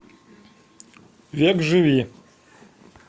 векживи